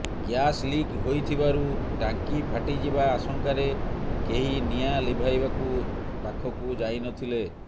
gas leak ହୋଇଥିବାରୁ ଟାଙ୍କି ଫାଟିଯିବା ଆଶଙ୍କାରେ କେହି ନିଆଁ ଲିଭାଇବାକୁ ପାଖକୁ ଯାଇ ନଥିଲେ